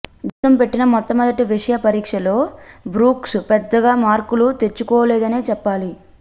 జీవితం పెట్టిన మొట్టమొదటి విషమ పరీక్షలో బ్రూక్స్ పెద్దగా మార్కులు తెచ్చుకోలేదనే చెప్పాలి